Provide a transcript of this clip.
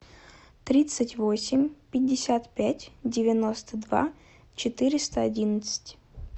тридцать восемь пятьдесят пять девяносто два четыреста одиннадцать